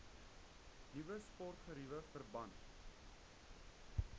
nuwe sportgeriewe verband